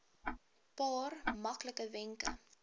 paar maklike wenke